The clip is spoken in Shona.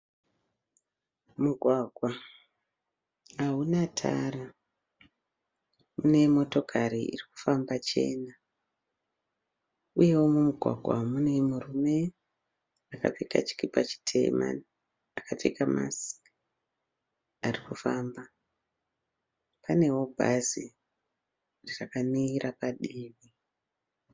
Mugwagwa hauna tara. Une motokari irikufamba chena . Uyewo mumugwagwa umu mumwe murume akapfeka chikipa chitema akapfeka masiki arikufamba. Panewo bhazi rakamira padivi